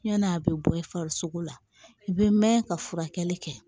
Ɲani a bɛ bɔ i farisoko la i bɛ mɛn ka furakɛli kɛ